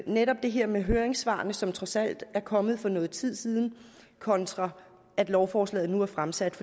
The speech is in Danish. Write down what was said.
netop det her med høringssvarene som trods alt er kommet for noget tid siden kontra at lovforslaget er fremsat